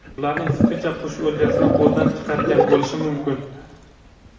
Ularning fikricha, qush o‘ljasini qo‘ldan chiqargan bo‘lishi mumkin.